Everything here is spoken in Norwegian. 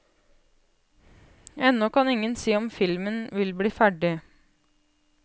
Ennå kan ingen si om filmen vil bli ferdig.